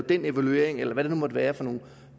den evaluering eller hvad det nu måtte være for nogle